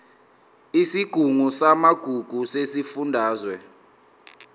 isigungu samagugu sesifundazwe